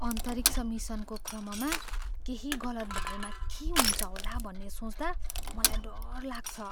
अन्तरिक्ष मिसनको क्रममा केही गलत भएमा के हुन्छ होला भन्ने सोच्दा मलाई डर लाग्छ।